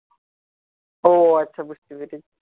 ও আচ্ছা বুঝতে পেরেছি